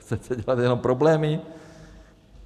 Chcete dělat jenom problémy?